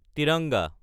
तिरंगा